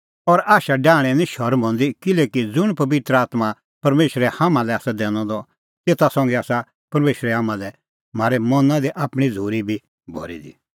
और आशा डाहणें निं शरम हंदी किल्हैकि ज़ुंण पबित्र आत्मां परमेशरै हाम्हां लै आसा दैनअ द तेता संघै आसा परमेशरै हाम्हां लै म्हारै मना दी आपणीं झ़ूरी बी भरी दी